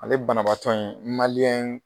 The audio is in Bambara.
Ale banabaatɔ in